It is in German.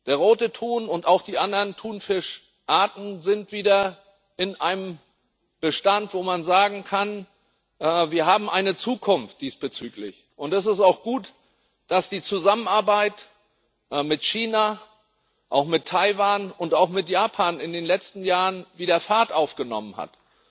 Der Rote Thun und auch die anderen Thunfischarten sind wieder in einem Bestand, wo man sagen kann Wir haben diesbezüglich eine Zukunft. Und es ist auch gut, dass die Zusammenarbeit mit China, auch mit Taiwan und auch mit Japan in den letzten Jahren wieder Fahrt aufgenommen hat.